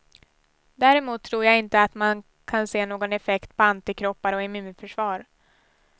Däremot tror jag inte att man kan se någon effekt på antikroppar och immunförsvar.